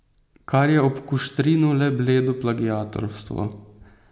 Kar je ob Kuštrinu le bledo plagiatorstvo.